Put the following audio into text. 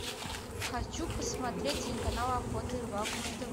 хочу посмотреть телеканал охота и рыбалка на тв